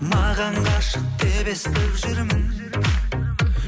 маған ғашық деп естіп жүрмін